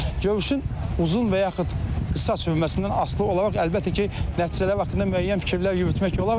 Görüşün uzun və yaxud qısa sürməsindən asılı olaraq, əlbəttə ki, nəticələr haqqında müəyyən fikirlər yürütmək olar.